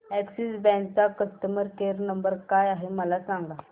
Axis bank चा customer care number काय आहे मला सांगा